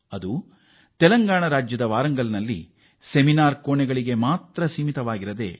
ಇದು ಕೇವಲ ನಾಲ್ಕು ಕೋಣೆಗಳ ಮಧ್ಯೆ ನಡೆದ ವಿಚಾರಗೋಷ್ಠಿಗೆ ಸೀಮೀತವಾಗಿರಲಿಲ್ಲ